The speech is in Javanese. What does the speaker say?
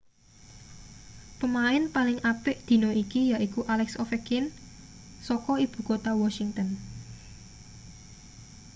pemain paling apik dina iki yaiku alex ovechkin saka ibu kutha washington